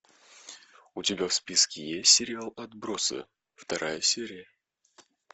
у тебя в списке есть сериал отбросы вторая серия